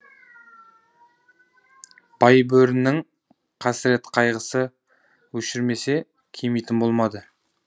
байбөрінің қасірет қайғысы өшірмесе кемитін болмады